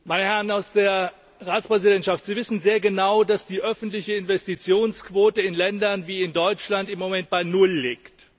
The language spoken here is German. Meine Herren von der Ratspräsidentschaft, Sie wissen sehr genau, dass die öffentliche Investitionsquote in Ländern wie Deutschland im Moment bei Null liegt.